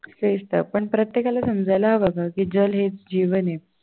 तेच तर पण प्रत्येकाला समजायला हवं ग कि जल हे जीवन आहे.